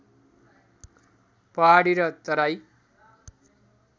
पहाडी र तराई